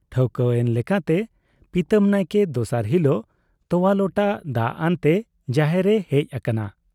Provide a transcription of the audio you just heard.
ᱴᱷᱟᱹᱣᱠᱟᱹ ᱮᱱ ᱞᱮᱠᱟᱛᱮ ᱯᱤᱛᱟᱹᱢ ᱱᱟᱭᱠᱮ ᱫᱚᱥᱟᱨ ᱦᱤᱞᱚᱜ ᱛᱚᱣᱟ ᱞᱚᱴᱟ ᱫᱟᱜ ᱟᱱᱛᱮ ᱡᱟᱦᱮᱨ ᱮ ᱦᱮᱡ ᱟᱠᱟᱱᱟ ᱾